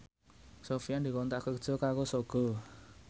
Sofyan dikontrak kerja karo Sogo